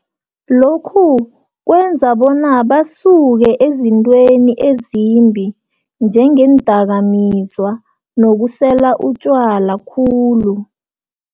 Lokhu kwenza bona basuke ezintweni ezimbi, njengeendakamizwa, nokusela utjwala khulu.